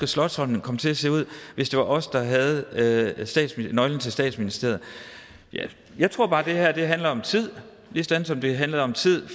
slotsholmen komme til at se ud hvis det var os der havde havde nøglen til statsministeriet jeg tror bare det her handler om tid ligesom det handlede om tid